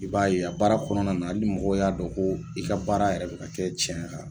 I b'a ye a baara kɔnɔna na hali ni mɔgɔ y'a dɔn, ko i ka baara yɛrɛ bi ka kɛ cɛ kan